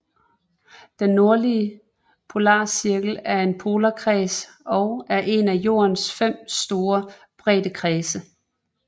Den nordlige polarcirkel er en polarkreds og er en af Jordens fem store breddekredse